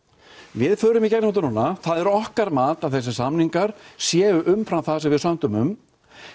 við förum í gegnum þetta núna það er okkar mat að þessir samningar séu umfram það sem við sömdum um